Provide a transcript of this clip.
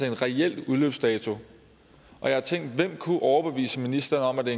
en reel udløbsdato jeg har tænkt hvem der kunne overbevise ministeren om at det